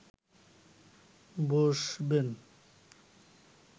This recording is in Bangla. বসবেন